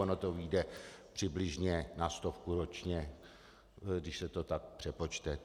Ono to vyjde přibližně na stovku ročně, když se to tak přepočte.